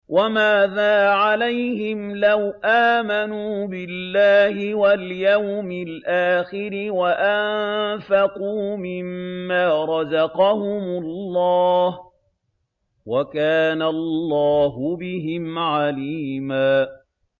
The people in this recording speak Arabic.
وَمَاذَا عَلَيْهِمْ لَوْ آمَنُوا بِاللَّهِ وَالْيَوْمِ الْآخِرِ وَأَنفَقُوا مِمَّا رَزَقَهُمُ اللَّهُ ۚ وَكَانَ اللَّهُ بِهِمْ عَلِيمًا